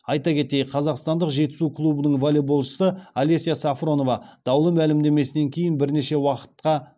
айта кетейік қазақстандық жетісу клубының волейболшысы алеся сафронова даулы мәлімдемесінен кейін бірнеше уақытқа